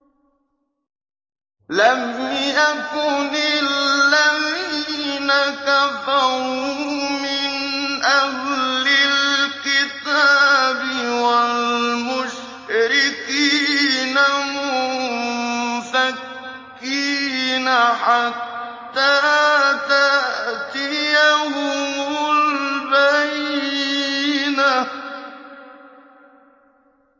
لَمْ يَكُنِ الَّذِينَ كَفَرُوا مِنْ أَهْلِ الْكِتَابِ وَالْمُشْرِكِينَ مُنفَكِّينَ حَتَّىٰ تَأْتِيَهُمُ الْبَيِّنَةُ